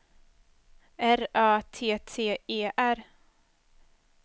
R Ö T T E R